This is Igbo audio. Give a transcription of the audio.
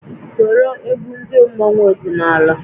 Soro egwu ndị mmọnwu ọdịnala!